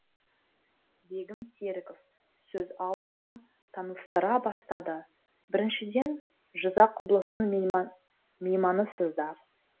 бегім серіков сөз алды да таныстыра бастады біріншіден жызақ облысының мейманысыздар